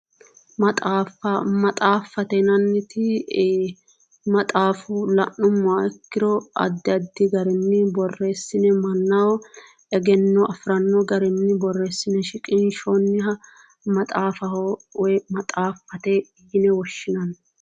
Maxaaffa, maxaffate yinanniti, maxaafu la'nummoha ikkiro addi addi garinni borreessine mannaho egenno afiranno garinni borreessine shiqinshshoonniha maxaafaho woyi maxaaffate yine woshshinanni.